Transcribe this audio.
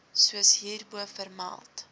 soos hierbo vermeld